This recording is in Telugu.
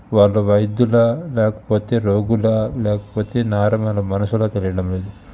వాళ్ళు వైద్యులా లేకపోతే రోగులా లేకపోతే నార్మల్ మనుషులా తెలియడం లేదు.